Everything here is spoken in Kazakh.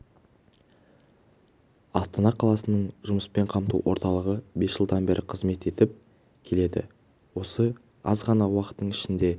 астана қаласының жұмыспен қамту орталығы бес жылдан бері қызмет етіп келеді осы аз ғана уақыттың ішінде